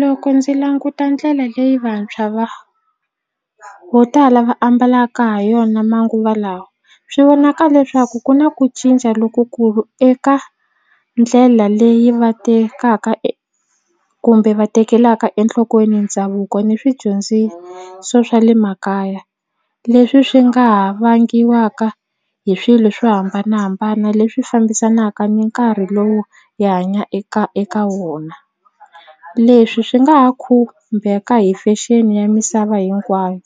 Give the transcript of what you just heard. Loko ndzi languta ndlela leyi vantshwa va vo tala va ambalaka ha yona manguva lawa swi vonaka leswaku ku na ku cinca lokukulu eka ndlela leyi va tekaka kumbe va tekelaka enhlokweni ndhavuko ni swidyondziso swa le makaya leswi swi nga ha vangiwaka hi swilo swo hambanahambana leswi fambisanaka ni nkarhi lowu hi hanya eka eka wona leswi swi nga ha khumbeka hi fashion ya misava hinkwayo